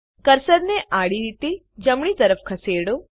કર્સરને આડી રીતે જમણી તરફ ખસેડો